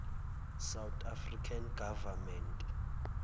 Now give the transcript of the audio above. south african government